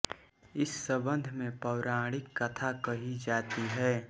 इस सम्बन्ध में पौराणिक कथा कही जाती है